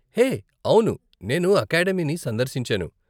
హే! అవును, నేను అకాడమీని సందర్శించాను.